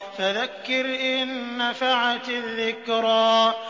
فَذَكِّرْ إِن نَّفَعَتِ الذِّكْرَىٰ